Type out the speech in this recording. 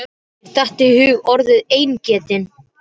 Mér datt í hug orðið eingetinn.